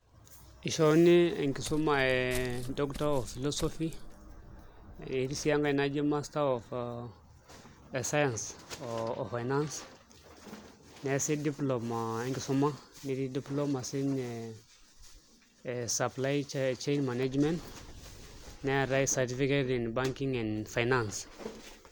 Ishoruni enkisuma e Doctor of Philosophy etii sii enkae naji Master of Science oo Finance neesi diploma e nkisuma netii diploma siinye e Supply Chain management neetai certificate in banking and finance.